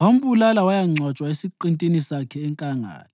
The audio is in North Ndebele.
wambulala wayangcwatshwa esiqintini sakhe enkangala.